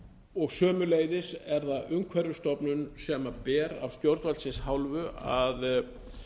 og sömuleiðis er það umhverfisstofnun sem ber af stjórnvaldsins hálfu að